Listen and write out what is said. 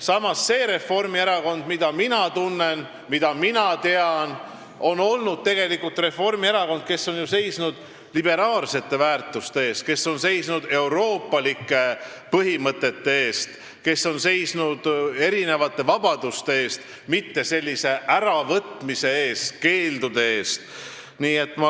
Samas, see Reformierakond, mida mina tunnen ja mida mina tean, on seisnud liberaalsete väärtuste eest, euroopalike põhimõtete eest, erinevate vabaduste eest, mitte vabaduste äravõtmise ja keeldude eest.